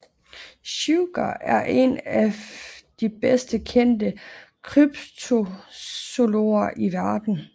Shuker er en af de bedst kendte kryptozoologer i verden